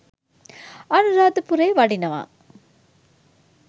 අනුරාධපුරේ වඩිනවා.